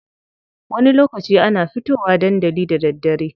Wani lokaci ana fito wa dandali da daddare.